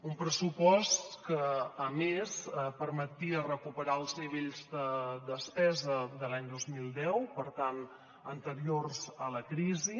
un pressupost que a més permetia recuperar els nivells de despesa de l’any dos mil deu per tant anteriors a la crisi